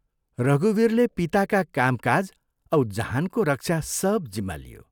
रघुवीरले पिताका कामकाज औ जहानको रक्षा सब जिम्मा लियो।